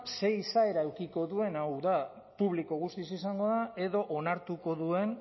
ze izaera edukiko duen hau da publiko guztiz izango da edo onartuko duen